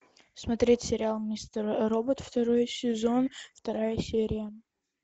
смотреть сериал мистер робот второй сезон вторая серия